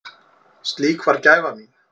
Slík var gæfa mín.